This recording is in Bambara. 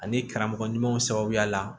Ani karamɔgɔ ɲumanw sababuya la